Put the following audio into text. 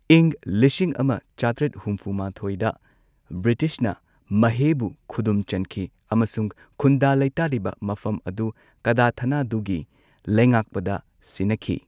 ꯏꯪ ꯂꯤꯁꯤꯡ ꯑꯃ ꯆꯥꯇ꯭ꯔꯦꯠ ꯍꯨꯝꯐꯨ ꯃꯥꯊꯣꯏꯗ ꯕ꯭ꯔꯤꯇꯤꯁꯅ ꯃꯥꯍꯦꯕꯨ ꯈꯨꯗꯨꯝ ꯆꯟꯈꯤ꯫ ꯑꯃꯁꯨꯡ ꯈꯨꯟꯗꯥ ꯂꯩꯇꯥꯔꯤꯕ ꯃꯐꯝ ꯑꯗꯨ ꯀꯗꯥꯊꯅꯥꯗꯨꯒꯤ ꯂꯩꯉꯥꯛꯄꯗ ꯁꯤꯅꯈꯤ꯫